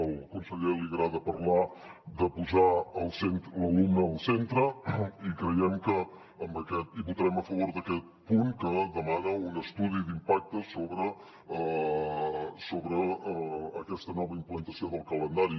al conseller li agrada parlar de posar l’alumne al centre i votarem a favor d’aquest punt que demana un estudi d’impacte sobre aquesta nova implantació del calendari